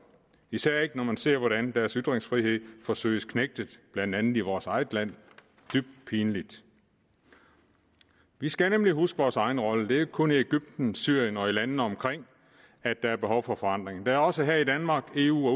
især ikke når man ser hvordan deres ytringsfrihed forsøges knægtet blandt andet i vores eget land dybt pinligt vi skal nemlig huske vores egen rolle det er ikke kun i egypten syrien og landene omkring der er behov for forandring der er også her i danmark i eu og